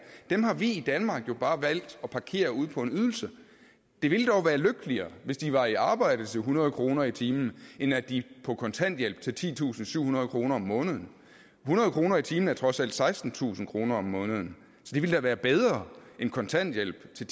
har vi jo i danmark bare valgt at parkere ude på en ydelse det ville dog være lykkeligere hvis de var i arbejde til hundrede kroner i timen end at de på kontanthjælp til titusinde og syvhundrede kroner om måneden hundrede kroner i timen er trods alt sekstentusind kroner om måneden så det ville da være bedre end kontanthjælp til